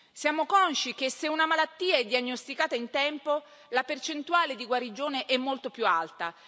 Siamo consci che se una malattia è diagnosticata in tempo, la percentuale di guarigione è molto più alta.